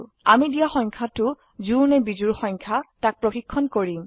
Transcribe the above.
আমি দিয়া সংখ্যাটো জোড় নে বিজোড় সংখ্যা তাক প্ৰশিক্ষন কৰিম